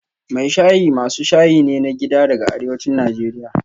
Mai shayi masu shayi ne na gida daga arewacin Najeriya